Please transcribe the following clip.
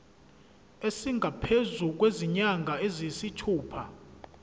esingaphezu kwezinyanga eziyisithupha